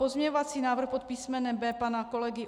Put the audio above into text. Pozměňovací návrh pod písmenem B pana kolegy